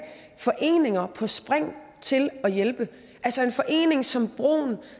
foreninger på spring til at hjælpe altså en forening som broen